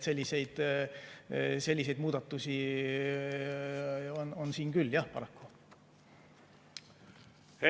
Selliseid muudatusi siin paraku on.